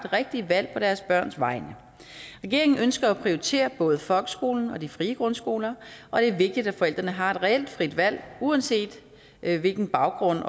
rigtige valg på deres børns vegne regeringen ønsker at prioritere både folkeskolen og de frie grundskoler og det er vigtigt at forældrene har et reelt frit valg uanset hvilken baggrund